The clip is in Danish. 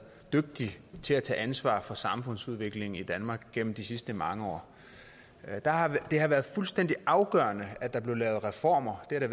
dygtig til at tage ansvar for samfundsudviklingen i danmark gennem de sidste mange år det har været fuldstændig afgørende at der er blevet lavet reformer det har det